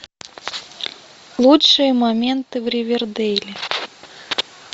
лучшие моменты в ривердейле